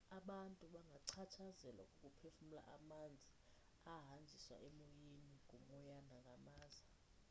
abantu bangachatshazelwa kukuphefumla amanzi ahanjiswa emoyeni ngumoya nangamaza